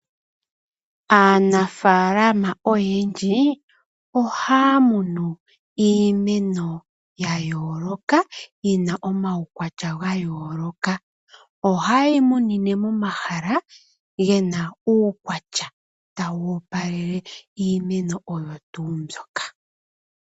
Aanafaalama oyendji ohaya munu iimeno yayooloka yina omaukwatya ga yooloka, oha yeyi munine momahala gena uukwatya tawu opalele iimeno oyo tuu mbyoka.